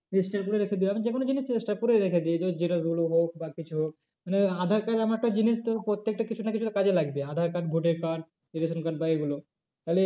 Extra করে রেখে দিই আমি যে কোনো জিনিস extra করে রেখে দিই এই তোর জেরক্স গুলো হোক বা কিছু হোক মানে aadhaar card এমন একটা জিনিস তোর প্রত্যেকটা কিছু না কিছুতে কাজে লাগবে। aadhaar card ভোটের কার্ড রেশন কার্ড বা এই গুলো।